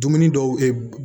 Dumuni dɔw